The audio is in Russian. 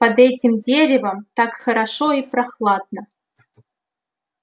под этим деревом так хорошо и прохладно